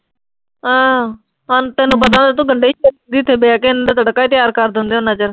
ਅਮ ਸਾਨੂੰ, ਤੈਨੂੰ ਪਤਾ, ਇਹ ਤਾਂ ਗੰਢੇ ਤੇ ਬਹਿ ਕੇ ਇਨ੍ਹਾਂ ਨੇ ਤਾਂ ਤੜਕਾ ਹੀ ਤਿਆਰ ਕਰਦੇ ਹੁੰਦੇ ਆ ਓਨਾ ਚਿਰ।